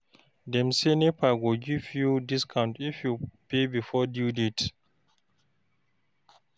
Dem say, NEPA go give you discount if you pay before due date.